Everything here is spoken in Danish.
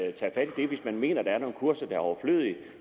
at tage fat i det hvis man mener at der er nogle kurser der er overflødige